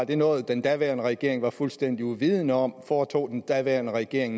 det noget den daværende regering var fuldstændig uvidende om foretog den daværende regering